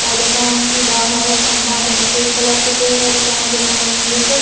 और दुकान की बाहर खंभा पे सफ़ेद कलर पोतो है दुकान के सामने एक --